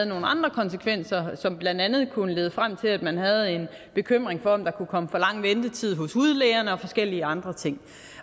nogle andre konsekvenser som blandt andet kunne lede frem til at man kunne have en bekymring for om der kunne komme for lang ventetid hos hudlægerne og forskellige andre ting